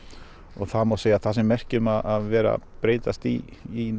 og það má segja að það sé merki um að vera að breytast í